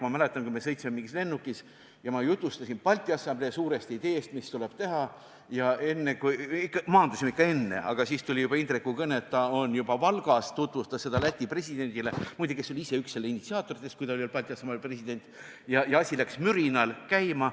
Ma mäletan, kui me sõitsime mingis lennukis ja ma jutustasin suurest ideest, mis tuleb Balti Assamblees teha, ja kui me maandusime, siis tuli Indreku kõne, et ta on juba Valgas, tutvustas seda ideed Läti presidendile – muide, tema oli ise üks selle initsiaatoritest, kui ta oli veel Balti Assamblee president –, ja asi läks mürinal käima.